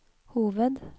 hoved